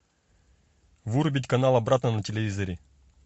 вырубить канал обратно на телевизоре